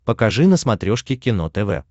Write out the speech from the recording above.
покажи на смотрешке кино тв